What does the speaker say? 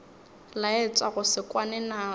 laetša go se kwane naso